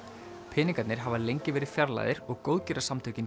peningarnir hafa lengi verið fjarlægðir og